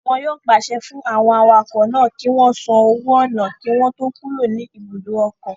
Wọn yóò pàṣẹ fún àwọn awakọ̀ náà kí wọ́n san owó ọnà kí wọ́n tó kúrò ní ibùdó ọkọ̀